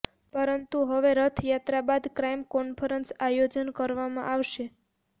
પરતું હવે રથયાત્રા બાદ ક્રાઇમ કોન્ફરન્સ આયોજન કરવામાં આવશે